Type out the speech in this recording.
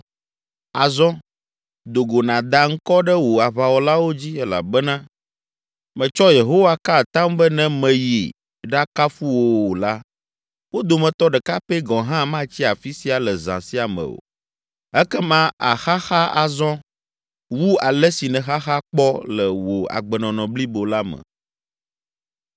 Azɔ, do go nàda ŋkɔ ɖe wò aʋawɔlawo dzi elabena metsɔ Yehowa ka atam be ne mèyi ɖakafu wo o la, wo dometɔ ɖeka pɛ gɔ̃ hã matsi afi sia le zã sia me o. Ekema àxaxa azɔ wu ale si nèxaxa kpɔ le wò agbenɔnɔ blibo la me.”